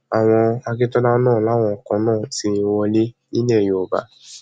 àwọn akíntola náà làwọn kan náà ti wọlé nílẹ yorùbá